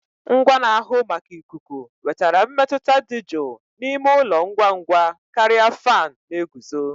Ngwa na-ahụ maka ikuku wetara mmetụta dị jụụ n'ime ụlọ ngwa ngwa karịa fan na-eguzo